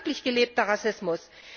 Das ist wirklich gelebter Rassismus.